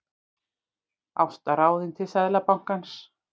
Ásta ráðin til Seðlabankans